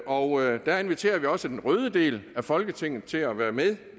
og der inviterer vi også den røde del af folketinget til at være med